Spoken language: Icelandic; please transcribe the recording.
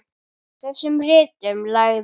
Í þessum ritum lagði